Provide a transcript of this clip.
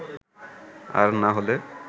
আর না হলে